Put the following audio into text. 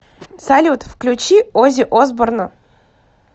салют включи ози осборна